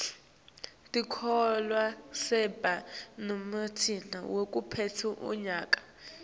tikolwa setiba nemicimbi wekuphetsa umnyaka